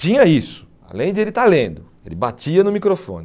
Tinha isso, além de ele estar lendo, ele batia no microfone.